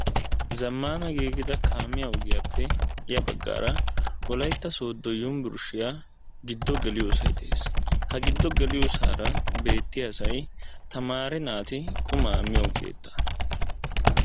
Zammmaana giigida kaamiya ogiyaappe ya baggaara wolaytta sooddo yunburshiya giddo geliyosay de"es. Ha giddo geliyosaara beettiyasay tamaare naati qumaa miyo keettaa.